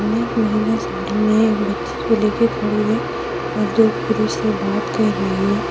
एक महिला साड़ी में एक बच्ची को लेकर खड़ी है और दो पुरुष से बात कर रही है।